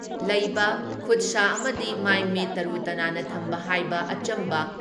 ꯂꯩꯕ, ꯈꯨꯠꯁꯥ ꯑꯃꯗꯤ ꯃꯥꯏ ꯃꯤꯠ ꯇꯔꯨ ꯇꯅꯥꯟꯅ ꯊꯝꯕ ꯍꯥꯏꯕ ꯑꯆꯝꯕ